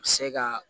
Se ka